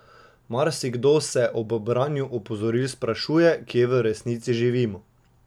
Marsikdo se ob branju opozoril sprašuje, kje v resnici živimo.